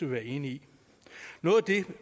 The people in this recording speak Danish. være enige i noget af det